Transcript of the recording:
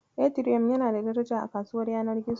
Etiriyom yana da daraja a kasuwar yanar gizo.